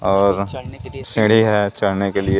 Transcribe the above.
और सीढ़ी है चढ़ने के लिए।